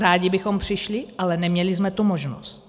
Rádi bychom přišli, ale neměli jsme tu možnost.